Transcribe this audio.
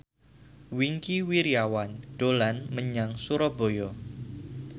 Wingky Wiryawan dolan menyang Surabaya